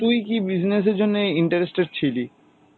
তুই কি business এর জন্যে interested ছিলি